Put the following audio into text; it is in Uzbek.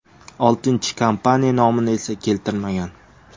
Oltinchi kompaniya nomini esa keltirmagan.